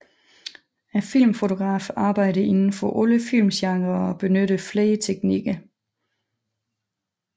Filmfotografen arbejder inden for alle filmgenrer og benytter flere teknikker